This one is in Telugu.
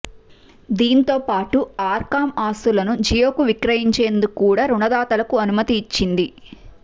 దీంతోపాటు ఆర్కామ్ ఆస్తులను జియోకు విక్రయిం చేందుకు కూడా రుణదాతలకు అనుమతి ఇచ్చింది